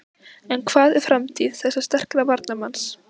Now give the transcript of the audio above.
En hvað um framtíð þessa sterka varnarmanns?